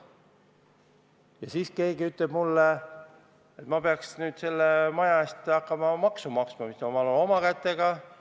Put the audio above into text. Ja siis keegi ütleb mulle, et ma peaks nüüd hakkama selle maja eest maksu maksma, kuigi ma olen selle oma kätega ehitanud.